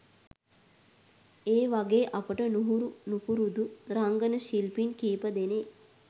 ඒ වගේ අපිට නුහුරු නුපුරුදු රංගන ශිල්පීන් කිපදෙනෙක්